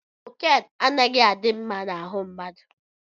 Kokine anaghị adị mma na ahụ mmadụ.